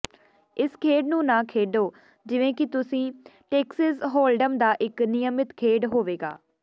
ਇਸ ਖੇਡ ਨੂੰ ਨਾ ਖੇਡੋ ਜਿਵੇਂ ਕਿ ਤੁਸੀਂ ਟੇਕਸਿਸ ਹੋਲਡਮ ਦਾ ਇੱਕ ਨਿਯਮਿਤ ਖੇਡ ਹੋਵੇਗਾ